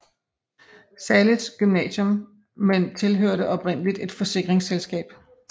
Zahles Gymnasium men tilhørte oprindeligt et forsikringsselskab